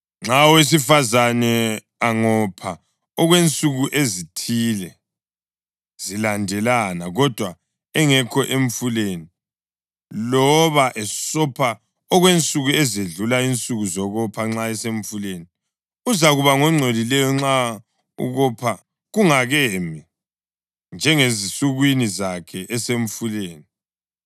Nxa owesifazane angopha okwensuku ezithile zilandelana kodwa engekho emfuleni, loba esopha okwensuku ezedlula insuku zokopha nxa esemfuleni, uzakuba ngongcolileyo nxa ukopha kungakemi, njengasezinsukwini zakhe esemfuleni.